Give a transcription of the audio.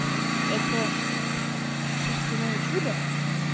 это шерстяное чудо